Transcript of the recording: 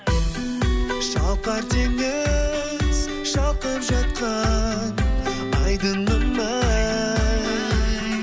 шалқар теңіз шалқып жатқан айдынын ай